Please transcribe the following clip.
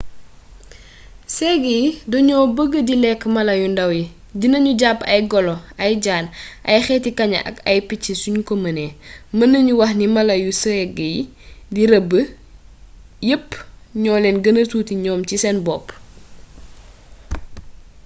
ségg yi dañoo bëgg di lekk mala yu ndàw yi dina ñu jàpp ay golo ay jaan ay xeeti kaña ak ay picc suñ ko mënee mën nañu wax ni mala yu ségg yi di rëbb yépp ñoo leen gëna tuuti ñoom ci seen bopp